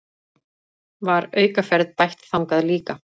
Var aukaferð bætt þangað líka